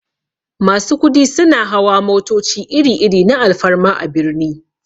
Masu kudi suna hawa motoci iri-iri na alfarma a birni.